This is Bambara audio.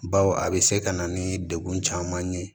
Baw a bɛ se ka na ni degun caman ye